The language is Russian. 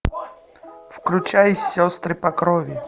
включай сестры по крови